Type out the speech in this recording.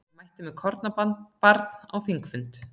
Mætti með kornabarn á þingfund